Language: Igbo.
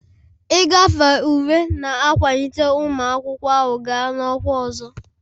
Ịgafe ule na-akwalite ụmụ akwụkwọ ahụ gaa na ọkwa ọzọ.